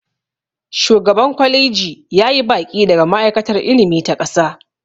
shugaban kwaliji ya yi baƙi daga ma'aikatar ilimi ta ƙasa